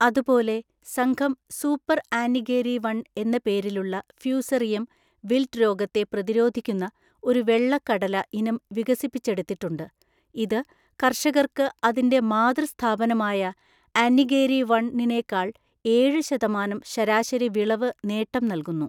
അതുപോലെ സംഘം 'super Annigeri one‍' എന്ന പേരിലുള്ള ഫ്യൂസെറിയം വിൽറ്റ്‌ രോഗത്തെ പ്രതിരോധിക്കുന്ന ഒരു വെള്ളക്കടല ഇനം വികസിപ്പിച്ചെടുത്തിട്ടുണ്ട്, ഇത് കർഷകർക്ക് അതിന്റെ മാതൃസ്ഥാപനമായ 'അന്നിഗേരി വണ്‍' നെക്കാൾ ഏഴു ശതമാനം ശരാശരി വിളവ് നേട്ടം നൽകുന്നു.